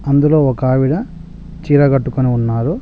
అందులో ఒకావిడ చీర గట్టుకొని ఉన్నారు.